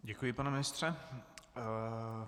Děkuji, pane ministře.